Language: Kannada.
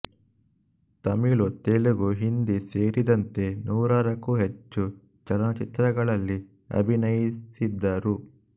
ತಮಿಳು ತೆಲುಗು ಹಿಂದಿ ಸೇರಿದಂತೆ ನೂರಕ್ಕೂ ಹೆಚ್ಚು ಚಲನಚಿತ್ರಗಳಲ್ಲಿ ಅಭಿನಯಿಸಿದ್ದರು